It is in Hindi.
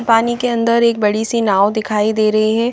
पानी के अंदर एक बड़ी सी नाँव दिखाई दे रहीं हैं।